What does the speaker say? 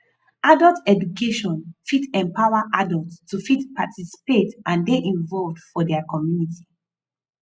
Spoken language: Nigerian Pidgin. adult education fit empower adults to fit participate and dey involved for their community